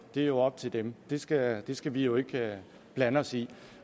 er jo op til dem det skal det skal vi jo ikke blande os i